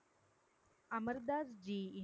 Amar தாஸ்ஜியின்